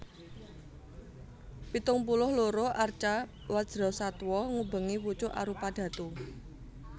Pitung puluh loro arca Wajrasattwa ngubengi pucuk arupadhatu